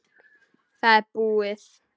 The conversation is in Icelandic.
Það er búið.